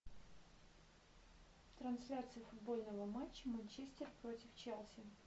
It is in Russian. трансляция футбольного матча манчестер против челси